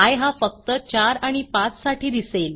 I हा फक्त 4 आणि 5 साठी दिसेल